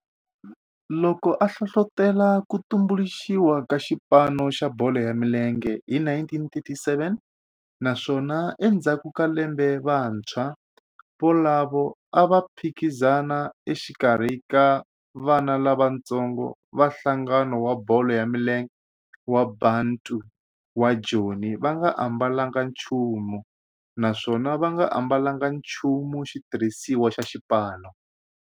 Loko a hlohlotela ku tumbuluxiwa ka xipano xa bolo ya milenge hi 1937 naswona endzhaku ka lembe vantshwa volavo a va phikizana exikarhi ka vana lavatsongo va nhlangano wa bolo ya milenge wa Bantu wa Joni va nga ambalanga nchumu naswona va nga ambalanga nchumu xitirhisiwa xa xipano.